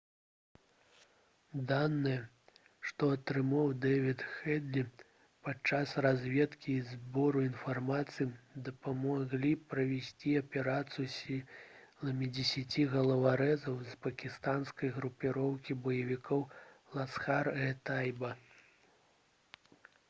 даныя што атрымаў дэвід хэдлі падчас разведкі і збору інфармацыі дапамаглі правесці аперацыю сіламі 10 галаварэзаў з пакістанскай групоўкі баевікоў «ласхар-э-тайба»